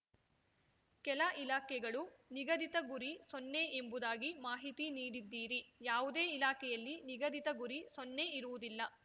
ಕೆಲ ಇಲಾಖೆಗಳು ನಿಗದಿತ ಗುರಿ ಸೊನ್ನೆ ಎಂಬುದಾಗಿ ಮಾಹಿತಿ ನೀಡಿದ್ದೀರಿ ಯಾವುದೇ ಇಲಾಖೆಯಲ್ಲಿ ನಿಗದಿತ ಗುರಿ ಸೊನ್ನೆ ಇರುವುದಿಲ್ಲ